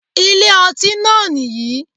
Ilé ọtí náà nìyì